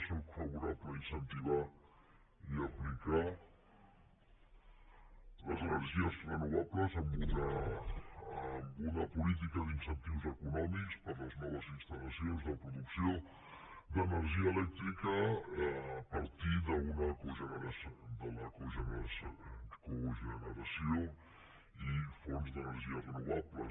sóc favorable a incentivar i a aplicar les energies renovables amb una política d’incentius econòmics per a les noves instal·lacions de producció d’energia elèctrica a partir de la cogeneració i fonts d’energies renovables